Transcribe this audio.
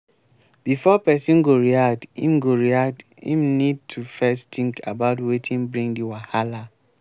before person go react im go react im need to first think about wetin bring di wahala